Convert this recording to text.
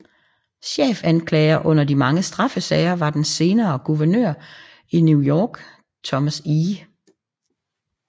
Chefanklager under de mange straffesager var den senere guvernør i New York Thomas E